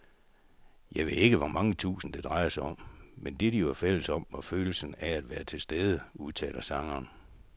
Jeg ved ikke hvor mange tusind, det drejede sig om, men det, de var fælles om, var følelsen af at være tilstede, udtaler sangeren.